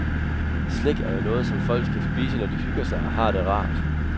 Slik er jo noget, som folk skal spise, når de hygger sig og har det rart.